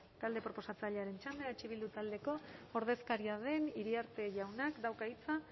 talde proposatzailearen txanda eh bildu taldeko ordezkaria den iriarte jaunak dauka hitza